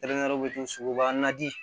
Kɛrɛnkɛrɛnnɛrɛnyɛrɛnw tɛ so suguba naji